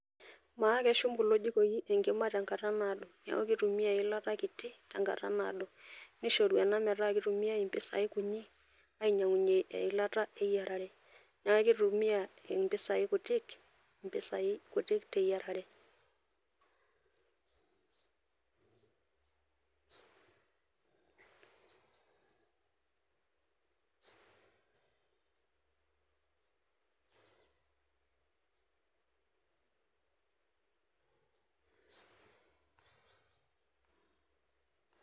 maa keshum kulo jikoi enkima tenkata naado niaku kitumia eilata kiti tenkata naado . nishoru ena metaa kitumiay impisai kunyi ainyangunyie eilata eyiarare ,niaku kitumia impisai kutik ,mpisai kutik teyiarare